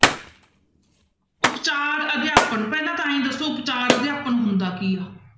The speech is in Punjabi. ਉਪਚਾਰ ਅਧਿਆਪਨ ਪਹਿਲਾਂ ਤਾਂ ਇਉਂ ਹੀ ਦੱਸੋ ਉਪਚਾਰ ਅਧਿਆਪਨ ਹੁੰਦਾ ਕੀ ਆ,